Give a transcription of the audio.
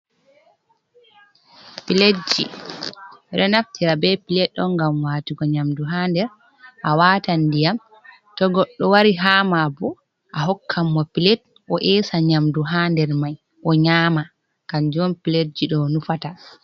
pilatji ɓeɗo naftira ɓe pilat on ngam watugo nyamdu ha nder, a watan ndiyam to godɗo wari hama bo a hokkan mo pilat o esa nyamdu ha nder mai o nyama kanjum piledji do nufata.